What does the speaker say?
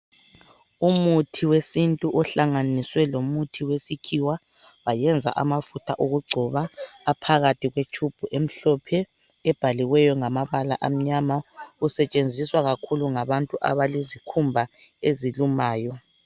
Umuthi wesintu ohlanganiswe lomuthi wesikhiwa wayenza amafutha okugcoba aphakathi kwetshubhu emhlophe ebhaliweyo ngamabala amnyama usetshenziswa kakhulu ngabantu abalezikhumba ezilumayo.